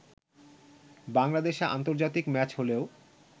বাংলাদেশে আন্তর্জাতিক ম্যাচ হলেও